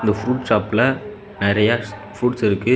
இந்த ப்ரூட் ஷாப்ல நெறைய ஃப்ரூட்ஸ் இருக்கு.